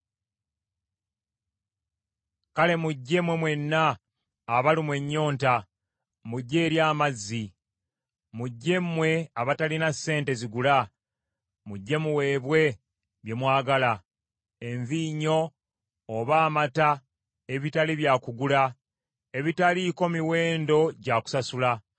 “Kale mujje, mmwe mwenna abalumwa ennyonta, mujje eri amazzi. Mujje mmwe abatalina ssente zigula, mujje muweebwe bye mwagala, envinnyo oba amata ebitali bya kugula ebitaliiko miwendo gya kusasula.